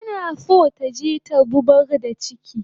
Tana so taje ta zubar da chiki